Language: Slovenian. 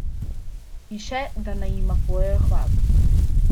In še, da naj jima pojejo hvalo.